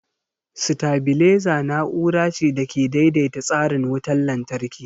Sitabileza na'ura ce da ke daidaita tsarin wutar lantarki.